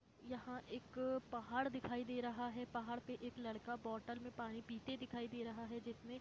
यहां एक पहाड़ दिखाई दे रहा है पहाड़ में एक लड़का बॉटल में पानी पीते दिखाई दे रहा है जसमे--